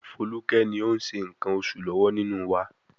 Foluke ni ó ń ṣe nǹkan oṣù lọ́wọ́ nínú wa.